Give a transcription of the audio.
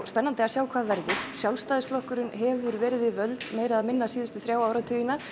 spennandi að sjá hvað verður Sjálfstæðisflokkurinn hefur verið við völd meira eða minna síðustu þrjá áratugina